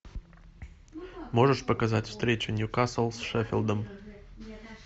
можешь показать встречу ньюкасл с шеффилдом